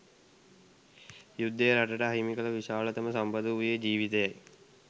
යුද්ධය රටට අහිමි කල විශාලතම සම්පත වුයේ “ජීවිතයයි”.